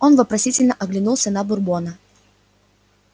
он вопросительно оглянулся на бурбона